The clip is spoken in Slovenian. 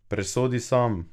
Presodi sam!